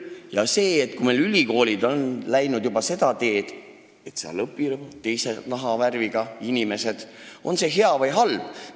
Ja kas see, et meil on ülikoolid läinud seda teed, et seal õpivad teise nahavärviga inimesed, on hea või halb?